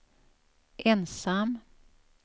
ensam